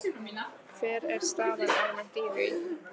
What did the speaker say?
Hver er staðan almennt í því?